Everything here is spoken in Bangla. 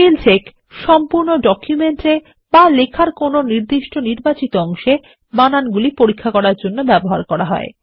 স্পেল চেক সম্পূর্ণ ডকুমেন্ট এ বা লেখার কোনো নির্বাচিত অংশে বানানগুলি পরীক্ষার জন্য ব্যবহার করা হয়